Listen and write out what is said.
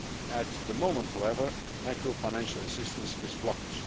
At the moment, however, macro financial assistance is blocked.